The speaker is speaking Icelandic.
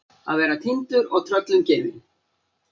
Að vera týndur og tröllum gefin